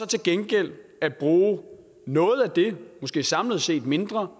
til gengæld at bruge noget af det måske samlet set mindre